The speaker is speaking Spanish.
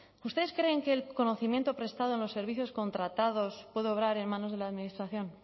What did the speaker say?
ustedes creen que el conocimiento prestado en los servicios contratados puede obrar en manos de la administración